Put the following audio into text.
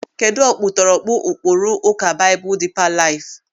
Kedụ ọkpụtọrọkpụ ụkpụrụ Ụka Baịbụl Dịịpa Laịf?